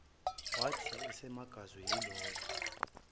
wathi esamangazwe yilokho